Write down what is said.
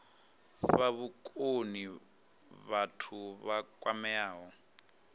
fha vhukoni vhathu vha kwameaho